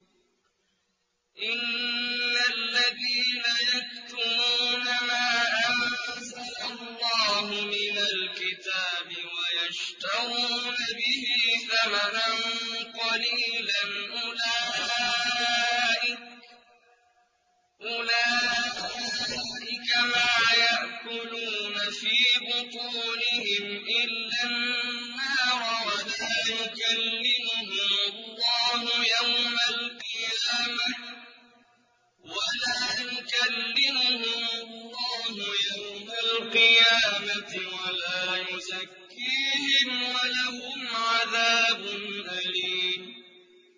إِنَّ الَّذِينَ يَكْتُمُونَ مَا أَنزَلَ اللَّهُ مِنَ الْكِتَابِ وَيَشْتَرُونَ بِهِ ثَمَنًا قَلِيلًا ۙ أُولَٰئِكَ مَا يَأْكُلُونَ فِي بُطُونِهِمْ إِلَّا النَّارَ وَلَا يُكَلِّمُهُمُ اللَّهُ يَوْمَ الْقِيَامَةِ وَلَا يُزَكِّيهِمْ وَلَهُمْ عَذَابٌ أَلِيمٌ